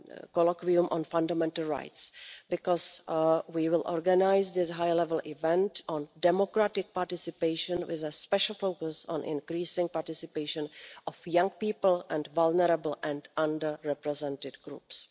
Colloquium on Fundamental Rights, because we will organise this high level event on democratic participation with a special focus on increasing the participation of young people and vulnerable and under represented groups.